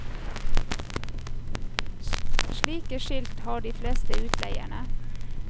Slike skilt har de fleste utleierne.